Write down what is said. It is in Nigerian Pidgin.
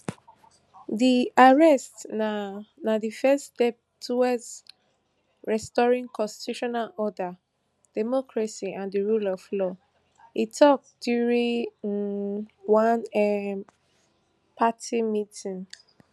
dis arrest na na di first step toward restoring constitutional order democracy and di rule of law e tok during um one um party meeting